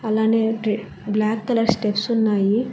అలానే ఓటి black colour steps ఉన్నాయి.